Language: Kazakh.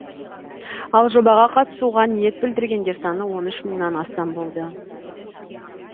ал жобаға қатысуға ниет білдіргендер саны он үш мыңнан астам болды